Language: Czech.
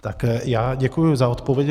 Tak já děkuji za odpověď.